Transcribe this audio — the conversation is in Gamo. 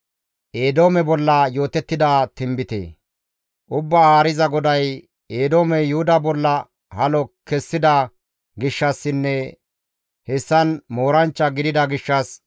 «Ubbaa Haariza GODAY, ‹Eedoomey Yuhuda bolla halo kessida gishshassinne hessan mooranchcha gidida gishshas,